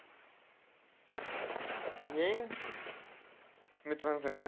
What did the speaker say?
येईन मित्रांसंग.